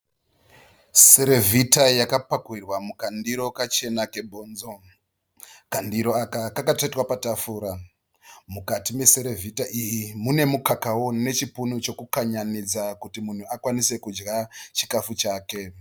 Serevhita yakapakurirwa mukandiro kachena kebhonzo. Kandiro aka kwakatsvetwa patafura. Mukati meserevhita iyi mune mukakawo nechipunu chekukanyanidza kuti munhu akwanise kudya chikafu chake.